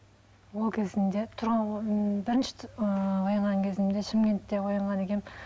ол кезімде бірінші ыыы оянған кезімде шымкентте оянған екенмін